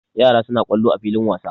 Yara suna kwallo a filin wasa.